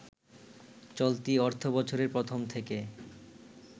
চলতি অর্থবছরের প্রথম থেকে